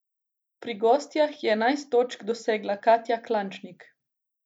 Pri gostjah je enajst točk dosegla Katja Klančnik.